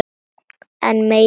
Enn meiri undrun